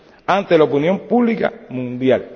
ante la opinión pública mundial.